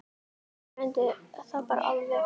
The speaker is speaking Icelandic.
Ragnar fór stundum hratt yfir.